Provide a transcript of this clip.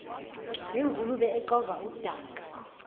nengulube exova udaka